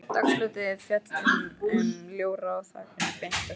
Dagsljósið féll inn um ljóra á þakinu beint á styttuna.